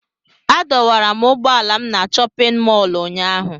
Adọwara m ụgbọala m na chọpịn mọọlụ ụnyaahụ.